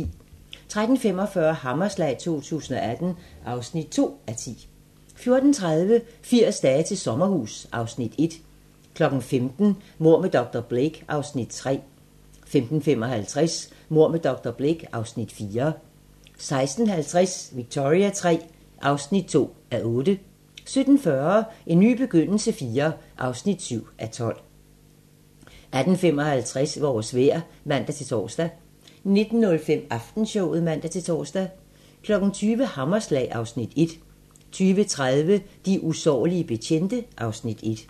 13:45: Hammerslag 2018 (2:10) 14:30: 80 dage til sommerhus (Afs. 1) 15:00: Mord med dr. Blake (Afs. 3) 15:55: Mord med dr. Blake (Afs. 4) 16:50: Victoria III (2:8) 17:40: En ny begyndelse IV (7:12) 18:55: Vores vejr (man-tor) 19:05: Aftenshowet (man-tor) 20:00: Hammerslag (Afs. 1) 20:30: De usårlige betjente (Afs. 1)